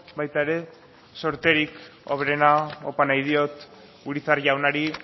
baita ere zorterik hoberena opa nahi diot urizar jaunari